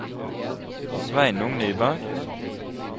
Sveinung Nyberg